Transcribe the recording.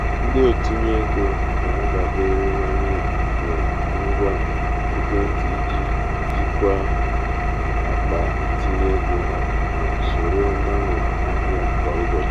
ndị otinye ego na-adaberewanye na ngwa ekwentị iji jikwaa jikwaa akpa itinye ego ha ma soro mgbanwe ahịa kwa ụbọchị.